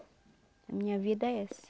A minha vida é essa.